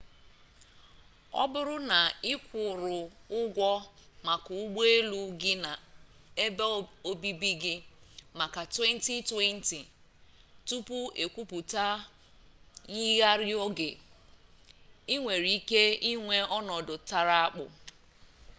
ọ bụrụ na ị kwụrụ ụgwọ maka ụgbọelu gị na ebe obibi gị maka 2020 tupu ekwuputa myigharịrị oge i nwere ike inwe ọnọdụ tara akpụ